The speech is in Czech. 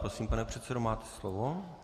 Prosím, pane předsedo, máte slovo.